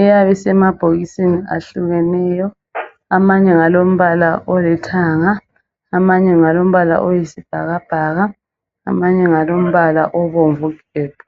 iyabe isema bhokisini ahlukeneyo amanye ngalombala olithanga amanye ngalombala oyisibhakabhaka amanye ngalo mbala obomvu gebhu